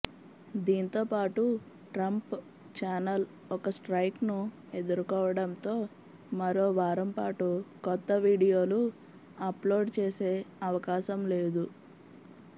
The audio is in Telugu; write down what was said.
దీంతోపాటు ట్రంప్ ఛానల్ ఒక స్ట్రైక్ను ఎదుర్కోవడంతో మరో వారం పాటు కొత్త వీడియోలు అప్లోడ్ చేసే అవకాశం లేదు